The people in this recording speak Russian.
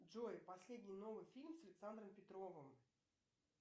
джой последний новый фильм с александром петровым